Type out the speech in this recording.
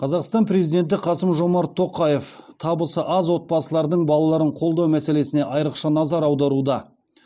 қазақстан президенті қасым жомарт тоқаев табысы аз отбасылардың балаларын қолдау мәселесіне айрықша назар аударуда